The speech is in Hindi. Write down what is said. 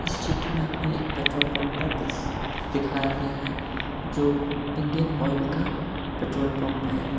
इस चित्र में हमें एक पेट्रोल पंप का दृश्य दिखाया गया है जो इंडियन ऑयल का पेट्रोल पंप है।